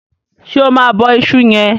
ṣe ọ Ma bó iṣu yen?